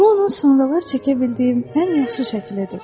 Bu onun sonralar çəkə bildiyim ən yaxşı şəklidir.